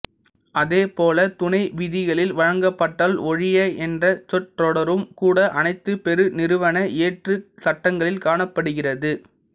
அதே போல துணை விதிகளில் வழங்கப்பட்டால் ஒழிய என்ற சொற்றொடரும் கூட அனைத்து பெருநிறுவன இயற்றுச் சட்டங்களில் காணப்படுகிறது